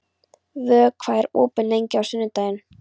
Vök, hvað er opið lengi á sunnudaginn?